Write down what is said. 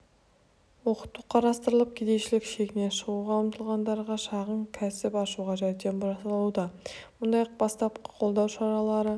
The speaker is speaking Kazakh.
оқыту қарастырылып кедейшілік шегінен шығуға ұмтылғандарға шағын кәсіп ашуға жәрдем жасалуда мұндай бастапқы қолдау шаралары